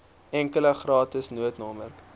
enkele gratis noodnommer